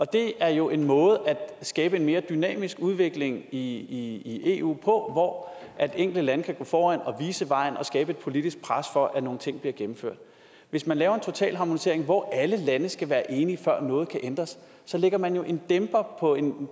det er jo en måde at skabe en mere dynamisk udvikling i eu på hvor enkelte lande kan gå foran og vise vejen og skabe et politisk pres for at nogle ting bliver gennemført hvis man laver en totalharmonisering hvor alle lande skal være enige før noget kan ændres så lægger man jo en dæmper på en